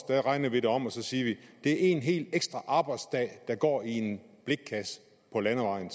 regner vi det om og siger det er en hel ekstra arbejdsdag der går i en blikkasse på landevejen